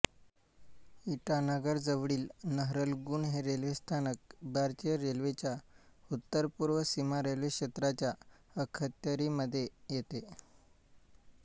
इटानगरजवळील नहरलगुन हे रेल्वे स्थानक भारतीय रेल्वेच्या उत्तर पूर्व सीमा रेल्वे क्षेत्राच्या अखत्यारीमध्ये येते